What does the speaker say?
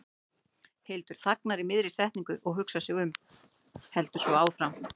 Hildur þagnar í miðri setningu og hugsar sig um, heldur svo áfram